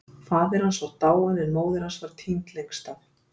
Faðir hans var dáinn en móðir hans var týnd lengst af.